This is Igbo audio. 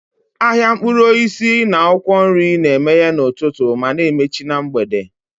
Ahịa mkpụrụ osisi na akwụkwọ nri na-emeghe n'ụtụtụ ma na-emechi na mgbede.